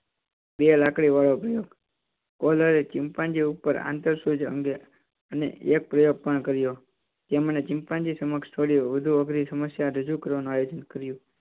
બે લાકડી વાળો પ્રયોગ. ચિંપાંજી ઉપર આંતર સૂજ અંગે અન્ય એક પ્રયોગ પણ કર્યો. તેમણે ચિંપાંજી સમક્ષ થોડી વધુ અઘરી સમસ્યા રજૂ કરવાનું આયોજન કર્યું.